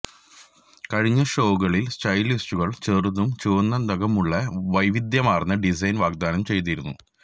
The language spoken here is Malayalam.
കഴിഞ്ഞ ഷോകളിൽ സ്റ്റൈലിസ്റ്റുകൾ ചെറുതും ചുവന്ന നഖങ്ങളുമുള്ള വൈവിധ്യമാർന്ന ഡിസൈൻ വാഗ്ദാനം ചെയ്തിരുന്നു